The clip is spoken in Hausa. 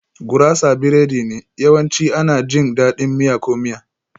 Gurasa biredi ne, yawanci ana jin daɗin miya ko miya.